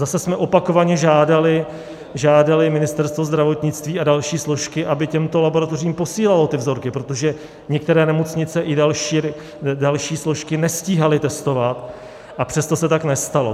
Zase jsme opakovaně žádali Ministerstvo zdravotnictví a další složky, aby těmto laboratořím posílalo ty vzorky, protože některé nemocnice i další složky nestíhaly testovat, a přesto se tak nestalo.